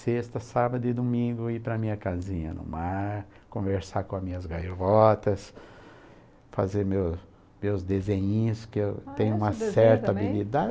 sexta, sábado e domingo ir para a minha casinha no mar, conversar com as minhas gaivotas, fazer meus meus desenhinhos, que eu tenho uma certa habilidade.